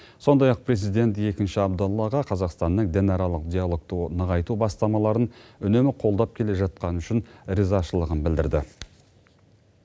сондай ақ президент екінші абдаллаға қазақстанның дінаралық диалогты нығайту бастамаларын үнемі қолдап келе жатқаны үшін ризашылығын білдірді